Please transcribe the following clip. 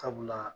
Sabula